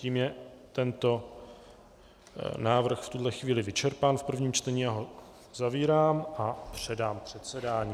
Tím je tento návrh v tuhle chvíli vyčerpán v prvním čtení, já ho zavírám a předám předsedání.